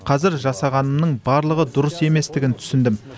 қазір жасағанымның барлығы дұрыс еместігін түсіндім